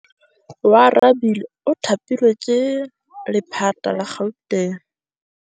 Oarabile o thapilwe ke lephata la Gauteng.